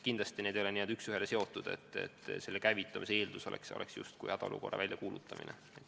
Kindlasti need ei ole üks ühele niimoodi seotud, et selle abi käivitamise eeldus on justkui hädaolukorra väljakuulutamine.